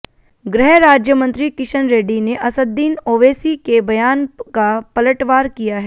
गृह राज्यमंत्री किशन रेड्डी ने असद्द्दीन ओवैसी के बयान का पलटवार किया है